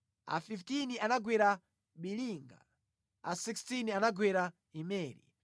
a 15 anagwera Biliga, a 16 anagwera Imeri,